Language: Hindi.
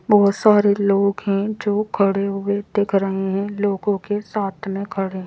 बहुत सारे लोग हैं जो खड़े हुए दिख रहे हैं लोगों के साथ में खड़े हैं।